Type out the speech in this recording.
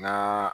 N'a